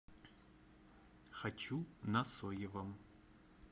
хочу на соевом